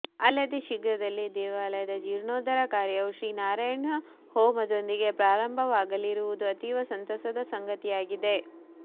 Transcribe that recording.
ಅಲ್ಲದೇ ಶ್ರೀರ್ಘದಲ್ಲಿಯೇ ದೇವಾಲಯದ ಜೀರ್ಣೋದ್ಧಾರ ಕಾರ್ಯವು ಶ್ರೀ ನಾರಾಯಣ ಹೋಮದೊಂದಿಗೆ ಪ್ರಾರಂಬವಾಗಲಿರುವುದು ಅತೀವ ಸಂತಸದ ಸಂಗತಿಯಾಗಿದೆ